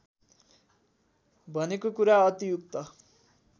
भनेको कुरा अतियुक्त